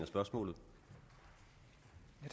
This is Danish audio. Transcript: spørgsmål